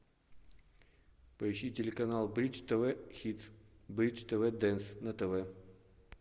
поищи телеканал бридж тв хитс бридж тв дэнс на тв